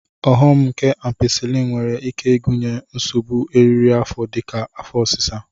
Ọghom nke Ampisilin nwere ike ịgụnye nsogbu eriri afọ dịka afọ ọsịsa